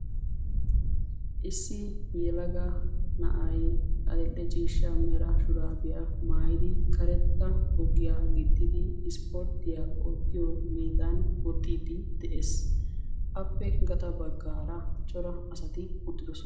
Issi yelaga na'ay adl"e ciishsha mera shurabiya maayyidi karetta boggiya gixxidi isporttiya oottiyo meedan woxxide de'ees. Appe gaxxa baggaara cora asati uttidoosona.